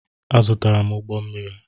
Azụtara m ụgbọ mmiri.